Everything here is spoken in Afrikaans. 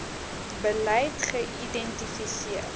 beleid geïdenti seer